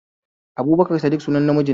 Abubakar Saddiƙ sunan na miji